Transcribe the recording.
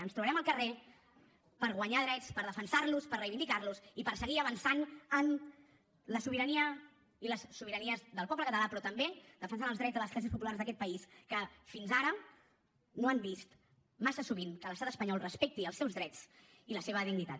ens trobarem al carrer per guanyar drets per defensar los per reivindicar los i per seguir avançant en la sobirania i les sobiranies del poble català però també defensant els drets de les classes populars d’aquest país que fins ara no han vist massa sovint que l’estat espanyol respecti els seus drets i la seva dignitat